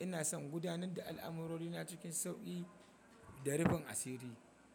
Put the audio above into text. Ina son gudanar da al'amurori na cikin sauki da rufin asiri.